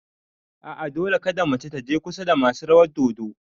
A'a, Dole kada mace taje kusa da masu rawar dodo